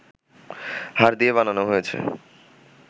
হাড় দিয়ে বানানো হয়েছে